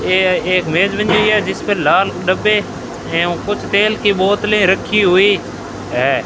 ये एक मेज बनी हुई है जिसपे लाल डब्बे हैं और कुछ तेल की बोतलें रखी हुई है।